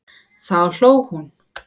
Þá hló hún.